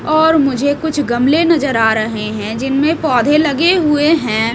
और मुझे कुछ गमले नजर आ रहे हैं जिनमें पौधे लगे हुए हैं।